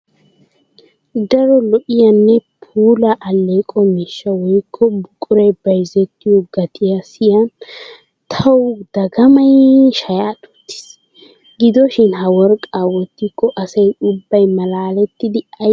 Daro lo'iyanne puula aleqqo miishsha woykko buqura bayzzettiyo gatiya siyin tawu dagamay shaya duutis! Gidoshin ha worqqa wottiko asay ubbay malaalettiddi ayfiyan gelana hanees!